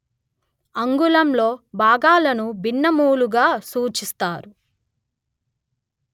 అంగుళంలో భాగాలను భిన్నములుగా సూచిస్తారు